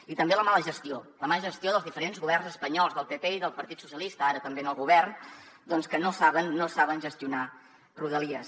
i també la mala gestió la mala gestió dels diferents governs espanyols del pp i del partit socialista ara també en el govern doncs que no saben gestionar rodalies